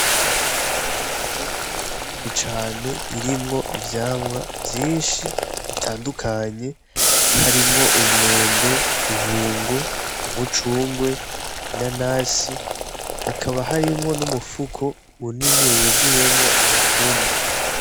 Insoko nini cane irimwo ivyamwa vyinshi bitandukanye harimwo umwembe ibungo umucungwe ina nasi hakaba harimwo n'umupfuko munini wuzuyemwo amatunda.